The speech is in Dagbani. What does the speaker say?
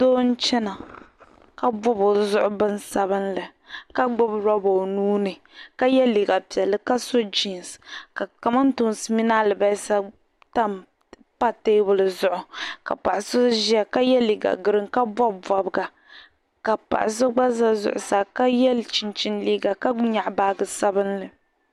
Doo n-chana ka bɔbi o zuɣu binsabilinli ka gbibi loba o nuu ni ka ye liiga piɛlli ka so jiinsi ka kamantoosi mini alibalisa pa teebuli zuɣu ka paɣa so ʒia ka ye liiga girin ka bɔbi bɔbiga ka paɣa so gba za zuɣusaa ka ye chinchini liiga ka nyaɣi baaji sabilinli.